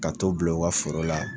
Ka t'u bila u ka foro la